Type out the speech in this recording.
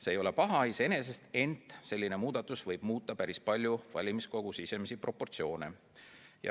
See ei ole iseenesest paha, ent selline muudatus võib muuta päris palju valimiskogu sisemisi proportsioone.